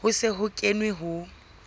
ho se ho kenwe ho